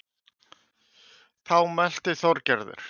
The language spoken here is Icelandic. Þá mælti Þorgerður